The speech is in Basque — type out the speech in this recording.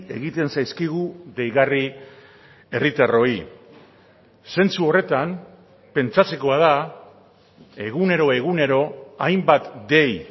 egiten zaizkigu deigarri herritarroi zentzu horretan pentsatzekoa da egunero egunero hainbat dei